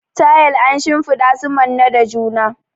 Tayel an shimfiɗa su manne da juna.